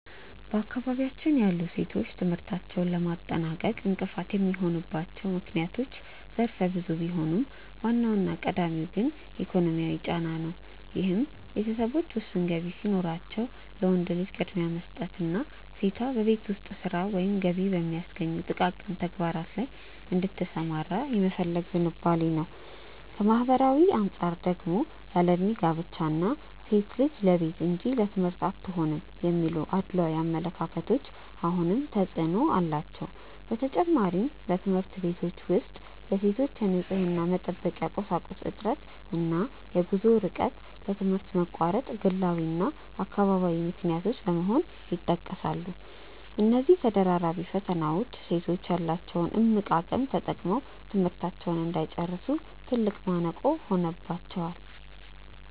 በአካባቢያችን ያሉ ሴቶች ትምህርታቸውን ለማጠናቀቅ እንቅፋት የሚሆኑባቸው ምክንያቶች ዘርፈ ብዙ ቢሆኑም፣ ዋናውና ቀዳሚው ግን ኢኮኖሚያዊ ጫና ነው፤ ይህም ቤተሰቦች ውስን ገቢ ሲኖራቸው ለወንድ ልጅ ቅድሚያ የመስጠትና ሴቷ በቤት ውስጥ ሥራ ወይም ገቢ በሚያስገኙ ጥቃቅን ተግባራት ላይ እንድትሰማራ የመፈለግ ዝንባሌ ነው። ከማኅበራዊ አንጻር ደግሞ ያለዕድሜ ጋብቻ እና "ሴት ልጅ ለቤት እንጂ ለትምህርት አትሆንም" የሚሉ አድሏዊ አመለካከቶች አሁንም ተፅዕኖ አላቸው። በተጨማሪም፣ በትምህርት ቤቶች ውስጥ የሴቶች የንፅህና መጠበቂያ ቁሳቁስ እጥረት እና የጉዞ ርቀት ለትምህርት መቋረጥ ግላዊና አካባቢያዊ ምክንያቶች በመሆን ይጠቀሳሉ። እነዚህ ተደራራቢ ፈተናዎች ሴቶች ያላቸውን እምቅ አቅም ተጠቅመው ትምህርታቸውን እንዳይጨርሱ ትልቅ ማነቆ ሆነውባቸዋል።